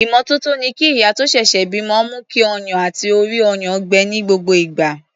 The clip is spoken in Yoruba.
Ìmọ́tótó ni kí ìyá tó ṣẹ̀ṣẹ̀ bímọ mú kí ọyàn àti orí-ọyàn gbẹ ní gbogbo ìgbà.